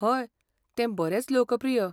हय, तें बरेंच लोकप्रिय.